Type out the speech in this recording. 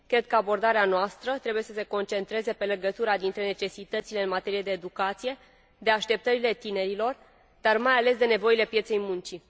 Cred că abordarea noastră trebuie să se concentreze pe legătura dintre necesitățile în materie de educație, pe așteptările tinerilor, și mai ales pe nevoile pieței muncii.